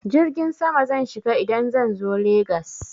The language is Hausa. Jirgin sama zan shiga idan zan zo Legas.